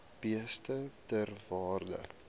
beeste ter waarde